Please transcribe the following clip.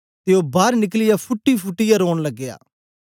ते ओ बार निकलियै फूटीफुटीयै रौन लगया